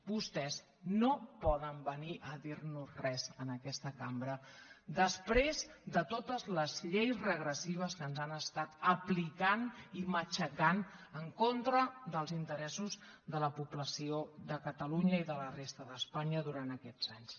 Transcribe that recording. vostès no poden venir a dir nos res en aquesta cambra després de totes les lleis regressives que ens han estat aplicant i matxucant en contra dels interessos de la població de catalunya i de la resta d’espanya durant aquests anys